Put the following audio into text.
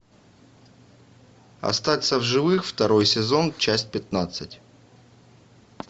остаться в живых второй сезон часть пятнадцать